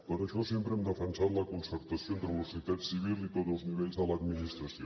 per això sempre hem defensat la concertació entre la societat civil i tots els nivells de l’administració